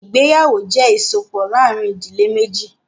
Ìgbéyàwó jẹ́ ìsopọ̀ láàrin ìdílé méjì.